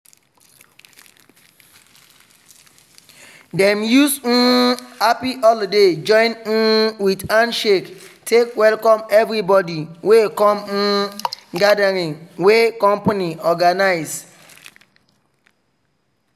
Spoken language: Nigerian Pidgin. dem use um "happy holoday" join um with handshake take welcome everibodi wey come um gathering wey company organize.